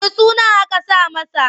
Wanne sunan aka saka masa?